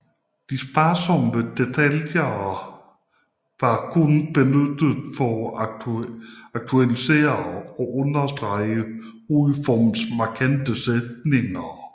De sparsomme detaljer vår kun benyttet for at artikulere og understrege hovedformernes markante modsætninger